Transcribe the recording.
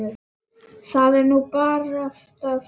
Það er nú barasta það.